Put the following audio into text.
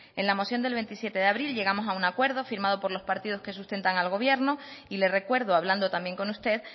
en la moción del veintisiete de abril llegamos a un acuerdo firmado por los partidos que sustentan al gobierno y le recuerdo hablando también con usted